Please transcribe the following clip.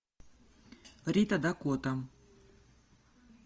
рита дакота